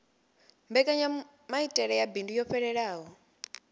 mbekanyamaitele ya bindu yo fhelelaho